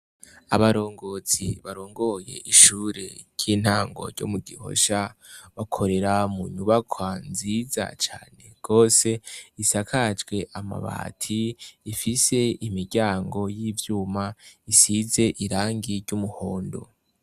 Abarongozi barongoye ishure ry'intango ryo mu Gihosha bakorera mu nyubakwa nziza cane gose isakajwe amabati. Ifise imiryango y'ivyuma isize irangi ry'umuhondo.